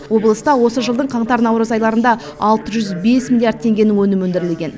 облыста осы жылдың қаңтар наурыз айларында алты жүз бес миллиард теңгенің өнімі өндірілген